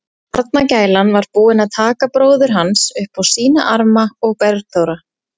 Barnagælan var búin að taka bróður hans upp á sína arma og Bergþóra